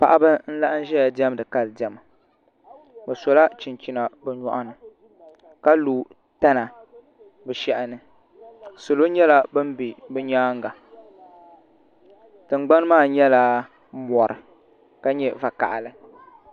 Paɣaba n laɣam ʒɛya diɛmdi kali diɛma bi sola chinchina bi nyoɣani ka lo tana bi shaha ni salo nyɛla bin bɛ bi nyaanga tingbani maa nyɛla mɔri ka nyɛ vakaɣali